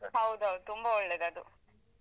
ಹೌದೌದು ತುಂಬಾ ಒಳ್ಳೆದದು.